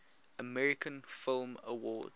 american film awards